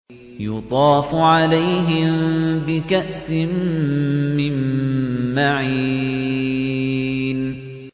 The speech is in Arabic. يُطَافُ عَلَيْهِم بِكَأْسٍ مِّن مَّعِينٍ